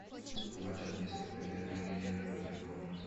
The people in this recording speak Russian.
матч английской премьер лиги ливер против борнмута